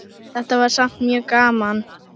Þetta var samt mjög gaman.